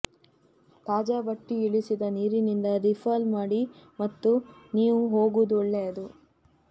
ತಾಜಾ ಬಟ್ಟಿ ಇಳಿಸಿದ ನೀರಿನಿಂದ ರೀಫಲ್ ಮಾಡಿ ಮತ್ತು ನೀವು ಹೋಗುವುದು ಒಳ್ಳೆಯದು